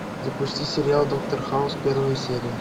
запусти сериал доктор хаус первая серия